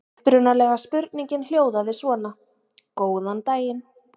Upprunalega spurningin hljóðaði svona: Góðan daginn!